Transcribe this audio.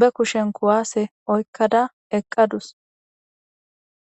be kushen kuwase oykada eqadus.